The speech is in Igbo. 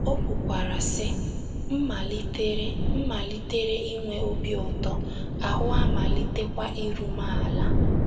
O kwukwara, sị: “ M malitere M malitere inwe obi ụtọ, ahụ́ amalitekwa iru m ala.